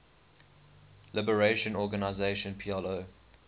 liberation organization plo